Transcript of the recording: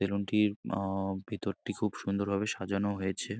এ room টির আহ- ভেতরটি খুব সুন্দরভাবে সাজানো হয়েছে।